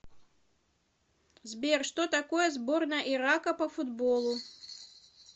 сбер что такое сборная ирака по футболу